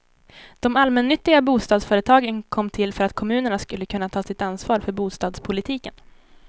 De allmännyttiga bostadsföretagen kom till för att kommunerna skulle kunna ta sitt ansvar för bostadspolitiken.